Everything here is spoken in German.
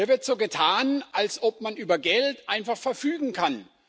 Hier wird so getan, als ob man über Geld einfach verfügen kann.